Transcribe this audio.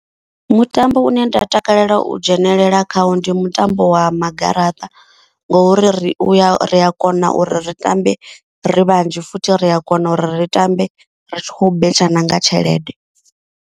Mutambo une nda takalela u dzhenelela khawo ndi mutambo wa ma garaṱa. Ngori ri uya ri a kona uri ri tambe ri vhanzhi futhi ri a kona uri ri tambe ri tshi khou betsha nanga tshelede.